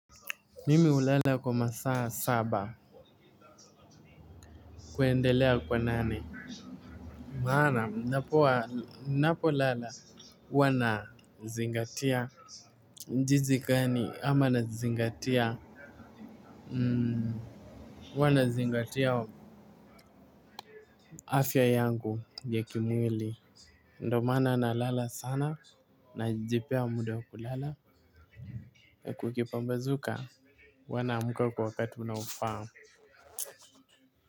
Mimi hulala kwa masaa saba kuendelea kwa nani maana ninapolala huwa ninazingatia jinsi gani ama nazingatia huwa nazingatia afya yangu ya kimwili ndiyo maana nalala sana najipea muda wa kulala ndio kukipambazuka huwa naamka kwa wakati unaofaa.